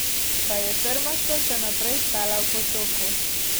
Pa je trmasto še naprej stala v potoku.